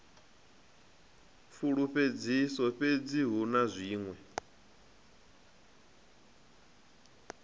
fulufhedzisaho fhedzi hu na zwiṅwe